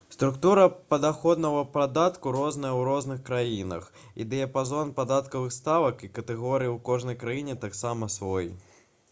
структура падаходнага падатку розная ў розных краінах і дыяпазон падатковых ставак і катэгорый у кожнай краіне таксама свой